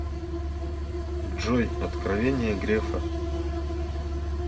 джой откровения грефа